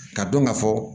Ka dɔn ka fɔ